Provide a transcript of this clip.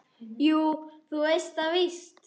Jú, þú veist það víst.